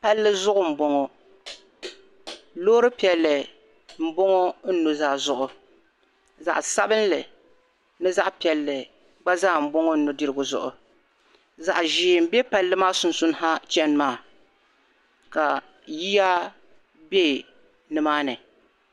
Palli zuɣu n boŋɔ loori piɛlli n boŋɔ n nu'zaa zuɣu zaɣ'sabinli ni zaɣ'piɛlli gba zaa n boŋɔ n nu'dirigu zuɣu zaɣ'zee n bɛ palli maa sunsuuni ha cheni maa ka yiya be nimaani